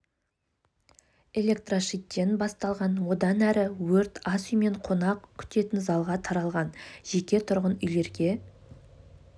электрошиттен басталған одан әрі өрт ас үй мен қонақ күтетін залға таралған жеке тұрғын үйлерге